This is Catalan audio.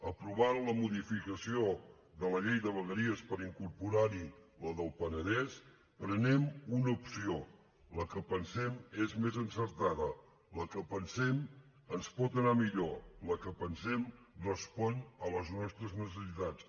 aprovant la modificació de la llei de vegueries per incorporar hi la del penedès prenem una opció la que pensem és més encertada la que pensem ens pot anar millor la que pensem respon a les nostres necessitats